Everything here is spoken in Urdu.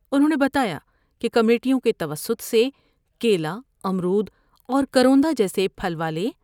انھوں نے بتایا کہ کمیٹیوں کے توسط سے کیلا ، امرود اور کروندہ جیسے پھل والے